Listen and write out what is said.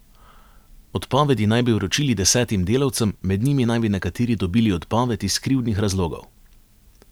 Odpovedi naj bi vročili desetim delavcem, med njimi naj bi nekateri dobili odpoved iz krivdnih razlogov.